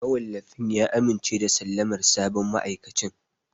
Mawallafin ya amince da sallamar sabon ma'aikacin.